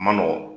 Ma nɔgɔn